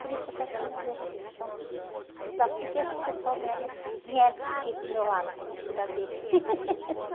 Por isso eu quero fazer um dia de regressão, estudar, porque esses pessoal vieram vieram para aqui, para o meu lado, para mim cuidar deles.